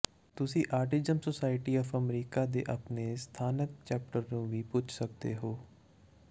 ਤੁਸੀਂ autism society of America ਦੇ ਆਪਣੇ ਸਥਾਨਕ ਚੈਪਟਰ ਨੂੰ ਵੀ ਪੁੱਛ ਸਕਦੇ ਹੋ